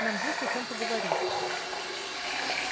нам есть о чем поговорить